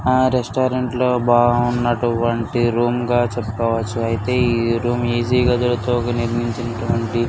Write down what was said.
ఆ రెస్టారంట్ లో బాగుంటు వంటి రూమ్ గ చెపుకోవచ్చు ఐతే ఈ రూమ్ ఈజీ గ --